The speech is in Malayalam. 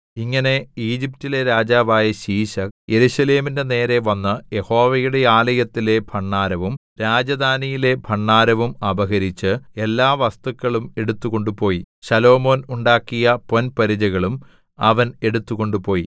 ഇങ്ങനെ ഈജിപ്റ്റിലെ രാജാവായ ശീശക്ക് യെരൂശലേമിന്റെ നേരെ വന്ന് യഹോവയുടെ ആലയത്തിലെ ഭണ്ഡാരവും രാജധാനിയിലെ ഭണ്ഡാരവും അപഹരിച്ച് എല്ലാ വസ്തുക്കളും എടുത്തുകൊണ്ടുപോയി ശലോമോൻ ഉണ്ടാക്കിയ പൊൻപരിചകളും അവൻ എടുത്തുകൊണ്ടുപോയി